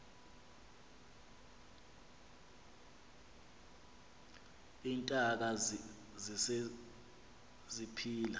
iintaka zise ziphila